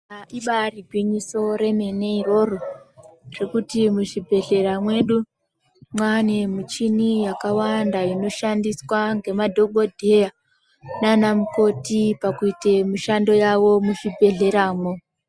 Ibaari gwinyiso remene iroro ngekuti muzvibhedhleya mwedu mwaane muchini yakawanda. Inoshandiswa ngemadhokodheya nanamukoti pakuita mushando yawo muzvibhedhlera mwo.